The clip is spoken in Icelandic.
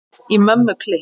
Í Mömmu klikk!